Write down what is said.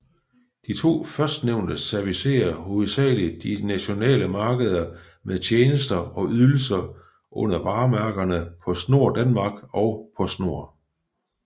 De to førstnævnte servicerer hovedsagelig de nationale markeder med tjenester og ydelser under varemærkerne PostNord Danmark og Postnord